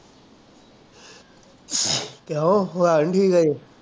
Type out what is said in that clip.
ਕਿਉਂ ਹੋਇਆ ਨੀ ਠੀਕ ਹਜੇ